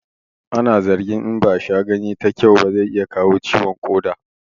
Ana zargin in ba a sha ganye ta kyau ba zai iya kawo ciwon ƙoda